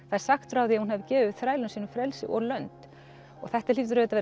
sagt frá því að hún hafi gefið þrælum sínum frelsi og lönd og þetta hlýtur auðvitað